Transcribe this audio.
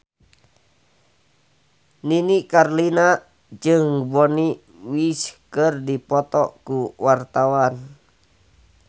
Nini Carlina jeung Bonnie Wright keur dipoto ku wartawan